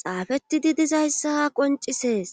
xaafetidi dizayssa qoncisees